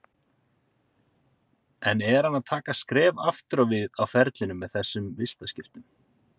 En er hann að taka skref aftur á við á ferlinum með þessum vistaskiptum?